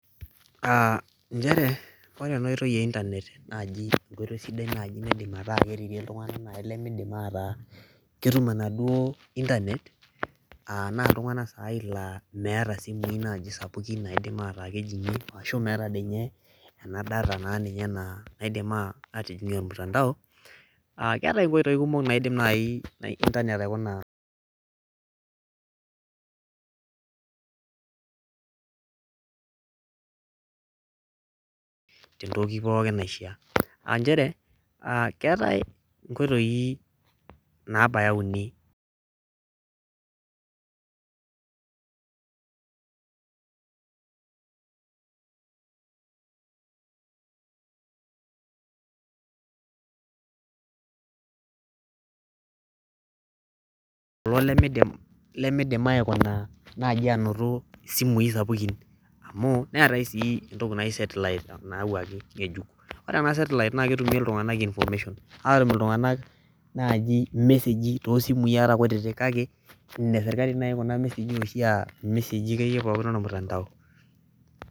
nchere ore ena oitoi ee internet naji enkoitoi sidai najii nadim ataa kerikie iltung'anak nayii lemeidim aata ketum enaduoo internet aa naa iltung'anak nayii laa meeta isimui naaji sapukin naidim aata naji kejii arashu meeta ninye ena data naidim atijingie ormutandao keetae inkoitoi kumok naidim nayii internet aikuna tee ntoki pookin naishaa aa nchere aa keetae inkoitoi naabaya uni, kulo lemeidim aikuna najii anoto isimui sapukin amuu neetae najii sii entoki naji setlite nayawuaki ng'ejuk ore ena setlite naa ketumie iltung'anak information aatum iltung'anak naaji imeseji too simui ata kutitik kake ine sirkali naji kuna meseji akeyie pookin ormutantao.